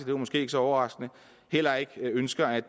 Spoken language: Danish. det måske ikke så overraskende heller ikke ønsker at